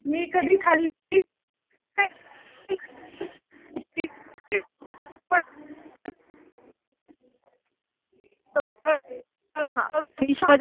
मी कधी खाल्ली